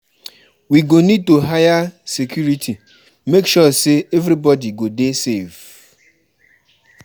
We go need to hire security, make sure sey everybodi go dey safe.